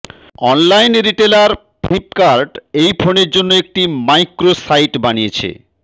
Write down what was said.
online retailer Flipkart এই ফোনের জন্য একটি মাইক্রো সাইট বানিয়েছে